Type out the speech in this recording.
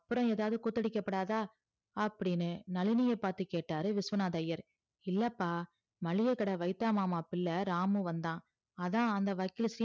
அப்புறம் எதாவுது குத்த அடிக்க குடாதா அப்டின்னு நளினியே பாத்து கேட்டாரு விஸ்வநாதர் ஐயர் இல்லப்பா. மளிகை கடை வைத்தா மாமா பிள்ளை ராமு வந்தான் அதான் அந்த வக்கீல் சீனிவாசன்